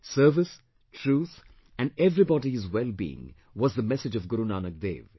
Service, truth and everybody's wellbeing was the message of Guru Nanak Dev